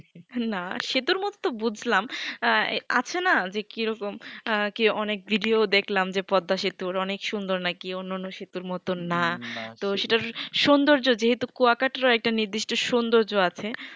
আল্লা সেতুর মতোই বুজলাম আঃ আছে না যে কি রকম অনেক video ও দেখলাম যে পদ্দা সেতু অনেক সুন্দর নাকি অন্যান সেতুর মতো না না তো সেটা সুন্দর্য যেহুতু কুয়া কাটলেও একটা নিদ্রিষ্ট সুন্দর্য আছে